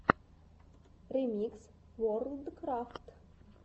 ремикс ворлдкрафт